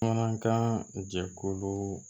Bamanankan jɛkulu